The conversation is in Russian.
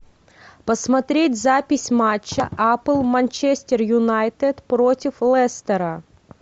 посмотреть запись матча апл манчестер юнайтед против лестера